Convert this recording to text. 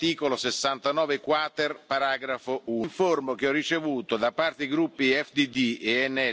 Uważam, że odsłania to Pańską hipokryzję w tej sprawie. Proszę o wyjaśnienie, czy poseł Flanagan zostanie ukarany.